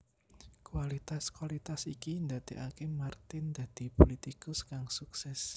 Kualitas kualitas iki ndadekake Martin dadi pulitikus kang sukses